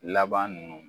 Laban nunnu